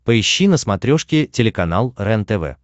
поищи на смотрешке телеканал рентв